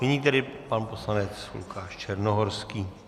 Nyní tedy pan poslanec Lukáš Černohorský.